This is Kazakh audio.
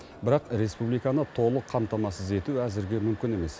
бірақ республиканы толық қамтамасыз ету әзірге мүмкін емес